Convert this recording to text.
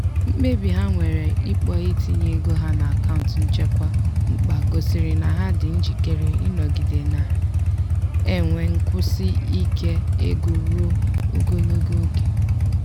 mkpebi ha nwere ikpọ itinye ego ha n'akaụntụ nchekwa mkpa gosiri na ha dị njikere ịnọgide na-enwe nkwụsi ike ego ruo ogologo oge.